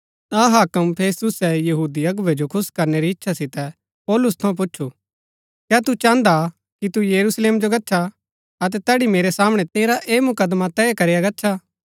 ता हाक्म फेस्तुसै यहूदी अगुवै जो खुश करनै री इच्छा सितै पौलुस थऊँ पुछु कै तु चाहन्दा कि तु यरूशलेम जो गच्छा अतै तैड़ी मेरै सामणै तेरा ऐह मुकदमा तय करया गच्छा